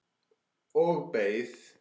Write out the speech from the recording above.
Og beið.